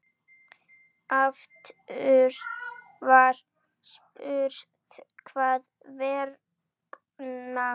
Aftur var spurt: Hvers vegna?